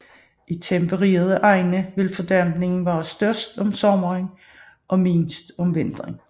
I tempererede egne vil fordampningen være størst om sommeren og mindst om vinteren